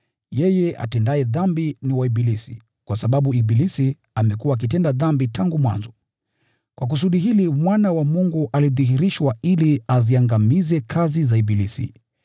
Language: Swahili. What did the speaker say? Yeye atendaye dhambi ni wa ibilisi, kwa sababu ibilisi amekuwa akitenda dhambi tangu mwanzo. Kwa kusudi hili Mwana wa Mungu alidhihirishwa, ili aziangamize kazi za ibilisi.